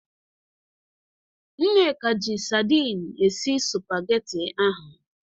Nneka ji sadin esi spageti ahụ.